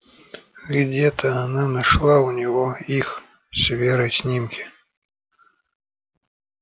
где-то она нашла у него их с верой снимки